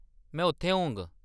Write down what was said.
में उत्थै होङ।